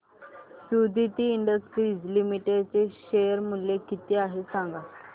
Suditi industries limited चे share मूल्य किती आहे सांगा